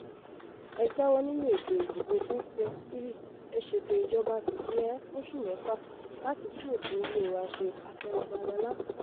ẹ jáwọ́ nínú ètò ìdìbò 2023 ẹ̀ ṣètò ìjọba fìdí-he fóṣù mẹ́fà láti tún òfin ilé wa ṣe afẹ babalọ́la